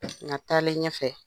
Nga taalen ɲɛ fɛ,